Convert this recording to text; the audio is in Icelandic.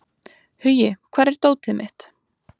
Hugi, hvar er dótið mitt?